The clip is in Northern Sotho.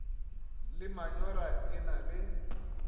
le manyora e na le